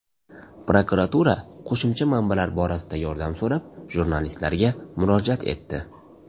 Prokuratura qo‘shimcha manbalar borasida yordam so‘rab, jurnalistlarga murojaat etdi.